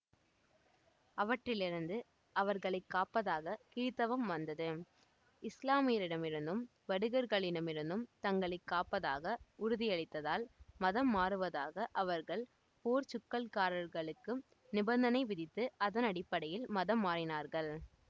அவற்றிலிருந்து அவர்களை காப்பதாக கிறித்தவம் வந்தது இஸ்லாமியரிடமிருந்தும் வடுகர்களிடமிருந்தும் தங்களை காப்பதாக உறுதியளித்தால் மதம்மாறுவதாக அவர்கள் போர்ச்சுக்கல்காரர்களுக்கு நிபந்தனை விதித்து அதனடிப்படையில் மதம் மாறினார்கள்